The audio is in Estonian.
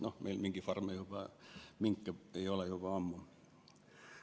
No meil ei ole mingifarme ega minke üldse juba ammu.